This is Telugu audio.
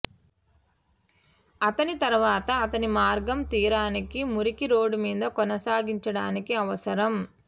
అతని తరువాత అతని మార్గం తీరానికి మురికి రోడ్ మీద కొనసాగించడానికి అవసరం